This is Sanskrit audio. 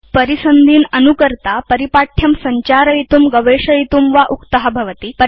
परिसन्धीन् अनुकर्ता उपयोक्ता परिपाठ्यं संचारयितुं गवेषयितुं वा उक्त भवति